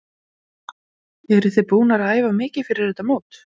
Hafþór: Eruð þið búnar að æfa mikið fyrir þetta mót?